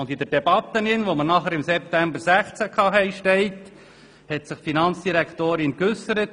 In der Debatte, die im September 2016 geführt wurde, hat sich die Finanzdirektorin folgendermassen geäussert: